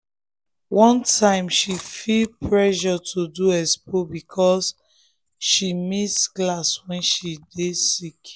one time she feel pressure to do expo because she miss class when she sick.